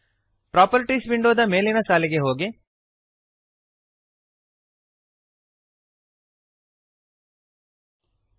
properties ವಿಂಡೋದ ಮೇಲಿನ ಸಾಲಿಗೆ ಹೋಗಿರಿ